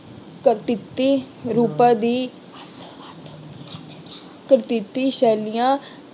ਕਰ ਟਿੱਪੀ ਰੂਪਾਂ ਦੀ ਕਰ ਟਿੱਪੀ ਸੈਲੀਆਂ